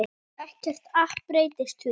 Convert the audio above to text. Ekkert app breytir því.